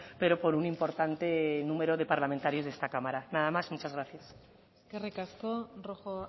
pero por un importante número de parlamentarios de esta cámara nada más muchas gracias eskerrik asko rojo